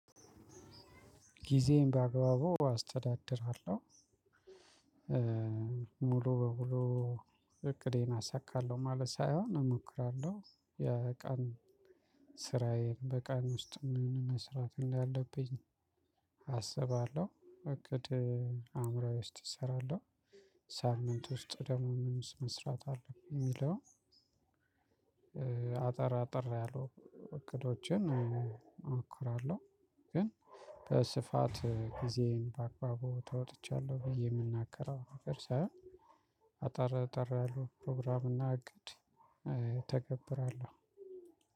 ግዜየን በአግባቡ አስተዳድራለሁ። ሙሉ በሙሉ እቅዴን አሳካለሁ ማለት ሳይሆን እሞክራለሁ። የቀን ስራየን በቀን ውስጥ ምን መስራት እንዳለብኝ አሰባለሁ እቅድ አዕምሮየ ውስጥ እሰራለሁ። ሳምንት ውስጥ ደግሞ ምን መስራት አለብኝ የሚለውን አጠር አጠር ያሉ እቅዶችን እሞክራለሁ። ግን በስፋት ጊዜን በአግባቡ ተወጥቻለሁ ብዬ የምናገረው ነገር ሳይሆን። አጠር አጠር ያሉ ፕሮግራም እና እቅድ እተገብራለሁ።